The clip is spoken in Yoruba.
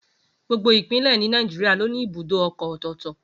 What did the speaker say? Gbogbo Ìpínlẹ̀ ni Nàìjíríà ló ní ibùdó ọkọ̀ ọ̀tọ̀ọ̀tọ̀